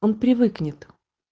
он привыкнет